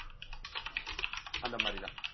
அந்த மாதிரிதான்